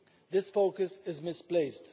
This focus is misplaced.